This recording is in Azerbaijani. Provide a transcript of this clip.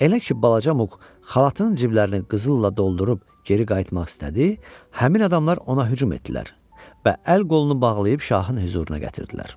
Elə ki, balaca Muk xalatının ciblərinə qızılla doldurub geri qayıtmaq istədi, həmin adamlar ona hücum etdilər və əl-qolunu bağlayıb şahın hüzuruna gətirdilər.